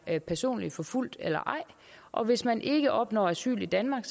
er personligt forfulgt eller ej og hvis man ikke opnår asyl i danmark